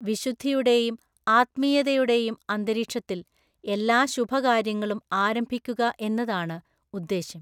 വിശുദ്ധിയുടെയും ആത്മീയതയുടെയും അന്തരീക്ഷത്തിൽ എല്ലാ ശുഭകാര്യങ്ങളും ആരംഭിക്കുക എന്നതാണ് ഉദ്ദേശം.